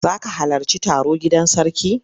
Za ka halarci taro gidan sarki?